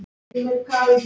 Það vona ég